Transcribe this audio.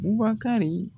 Bubakari